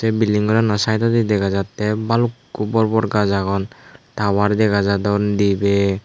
billing gorano saidodi dega jattey balukko bor bor gaz agon tawar dega jadon dibey.